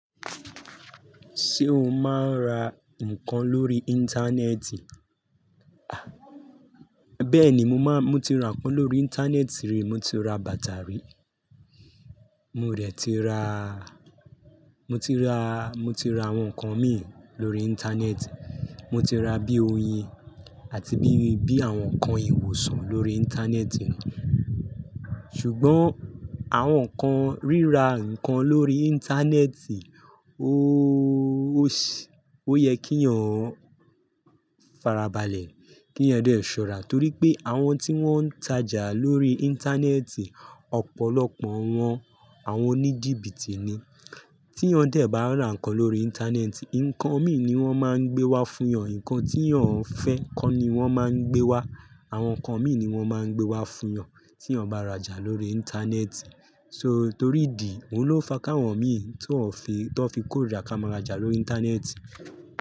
Ṣé o máa ń ra nǹkan lórí íńtánẹ́ẹ̀tì? Bẹ́ẹ̀ni, mo máa, mo ti ra nǹkan lórí íńtánẹ́ẹ̀tì rí, mo ti ra bàtà rí. Mo dẹ̀ ti ra, mo ti ra, mo ti ra àwọn nǹkan mi lórí íńtánẹ́ẹ̀tì, mo ti ra bí i oyin àti bí i, bí i àwọn nǹkan ìwòsàn lórí íńtánẹ́ẹ̀tì náà. Ṣùgbọ́n àwọn nǹkan rírà nǹkan lórí íńtánẹ́ẹ̀tì, óòó, ó yẹ kí yàn farabalẹ̀, kí yàn dẹ̀ ṣọ́ra torí pé àwọn tí wọ́n ń tajà lórí íńtánẹ́ẹ̀tì, ọ̀pọ̀lọpọ̀ wọ́n àwọn oníjìbìtì ni. Tí yàn dẹ̀ bá ra nǹkan lórí íńtánẹ́ẹ̀tì, nǹkan mi ni wọ́n máa ń gbé wá fún yàn, nǹkan tí yàn fẹ́ kọ́ ni wọ́n máa ń gbé wá. Àwọn nǹkan mi ni wọ́n máa ń gbé wá fún yàn tí yàn bá rajà lórí íńtánẹ́ẹ̀tì. So torí ìdí, òun ló fa káwọn mi tó fi kórìíra ká máa rajà lórí íńtánẹ́ẹ̀tì.